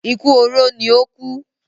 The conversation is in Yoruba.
Ikú oró ní ó kú